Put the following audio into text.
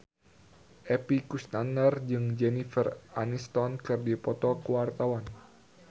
Epy Kusnandar jeung Jennifer Aniston keur dipoto ku wartawan